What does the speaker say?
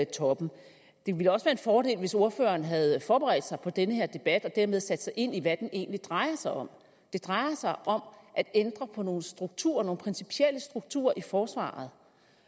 toppen det ville også være en fordel hvis ordføreren havde forberedt sig på den her debat og dermed sat sig ind i hvad den egentlig drejer sig om det drejer sig om at ændre på nogle strukturer nogle principielle strukturer i forsvaret